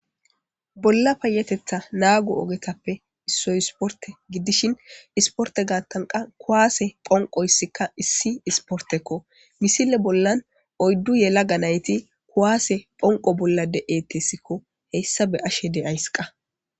Bolla payetetha naagu ogetappe issoy isporte giddishin isporte gaattanqa kuwaase phonqo issikka issi isportekko misile bollan oyddu yela ganayti kuwaase phonqo bollade eettessikko heyssa be ashe de'ays qa